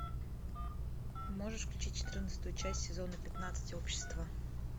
можешь включить четырнадцатую часть сезона пятнадцать общество